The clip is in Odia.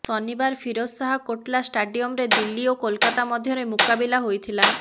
ଶନିବାର ଫିରୋଜ ଶାହ କୋଟଲା ଷ୍ଟାଡିୟମରେ ଦିଲ୍ଲୀ ଓ କୋଲାକାତା ମଧ୍ୟରେ ମୁକାବିଲା ହୋଇଥିଲା